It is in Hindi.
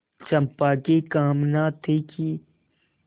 चंपा की कामना थी कि